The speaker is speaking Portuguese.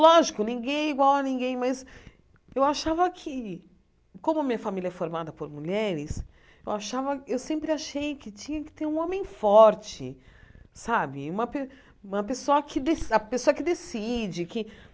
Lógico, ninguém é igual a ninguém, mas eu achava que, como a minha família é formada por mulheres, eu achava eu sempre achei que tinha que ter um homem forte sabe, uma pe uma pessoa que de a pessoa que decide. Que